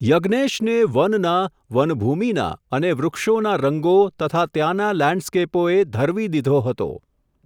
યજ્ઞેશને વનના, વનભૂમિના અને વૃક્ષોના રંગો, તથા ત્યાંના લૅન્ડસ્કેપોએ ધરવી દીધો હતો.